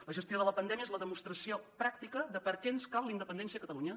la gestió de la pandèmia és la demostració pràctica de per què ens cal la independència de catalunya